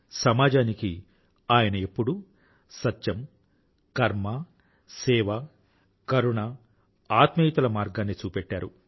సమాజానికి ఆయన ఎప్పుడూ సత్యం కర్మ సేవ కరుణ ఆత్మీయతల మార్గాన్ని చూపెట్టారు